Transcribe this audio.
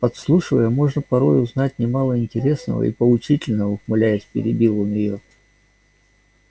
подслушивая можно порой узнать немало интересного и поучительного ухмыляясь перебил он её